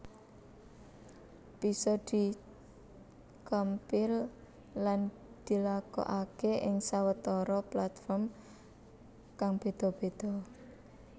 Bisa di compile lan dilakokaké ing sawetara platform kang béda béda